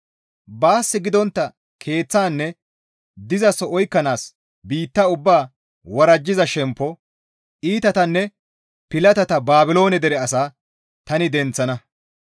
Baas gidontta keeththanne dizaso oykkanaas biitta ubbaa worajjiza shemppo iitatanne pilatata Baabiloone dere asaa tani denththana.